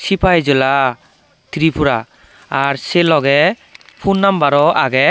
sipaai jola tripura ar sei logey phun numbero agey.